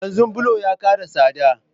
Yanzu bulo ya kara tsada